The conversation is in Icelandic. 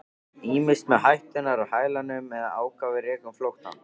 Ýmist með hætturnar á hælunum eða ákafir rekum flóttann.